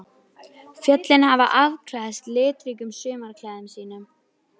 Við skulum alveg steinþegja þá af okkur, þessa eskimóa.